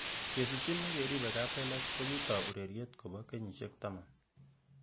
Kesikchin ak keribe kaplelach kokitoi ureriet kobo kenyisiek taman